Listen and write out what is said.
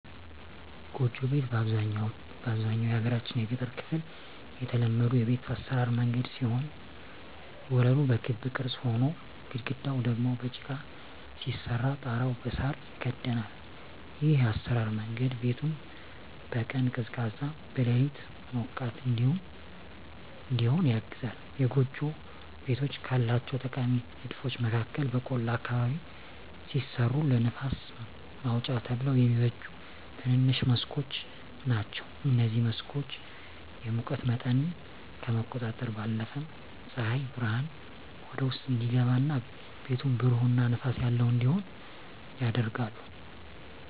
ጎጆ ቤት በአብዛኛው የሀገራችን የገጠር ክፍል የተለመዱ የቤት አሰራር መንገድ ሲሆን ወለሉ በክብ ቅርጽ ሆኖ፣ ግድግዳው ደግሞ በጭቃ ሲሰራ ጣሪያው በሳር ይከደናል። ይህ የአሰራር መንገድ ቤቱን በቀን ቀዝቃዛ፣ በሌሊት ሞቃት እዲሆን ያግዘዋል። የጎጆ ቤቶች ካላቸው ጠቃሚ ንድፎች መካከል በቆላ አካባቢ ሲሰሩ ለንፋስ ማውጫ ተብለው የሚበጁ ትንንሽ መስኮቶች ናቸዉ። እነዚህ መስኮቶች የሙቀት መጠንን ከመቆጣጠራቸው ባለፈም ፀሐይ ብርሃን ወደ ውስጥ እንዲገባ እና ቤቱን ብሩህ እና ንፋስ ያለው እንዲሆን ያደርጋሉ።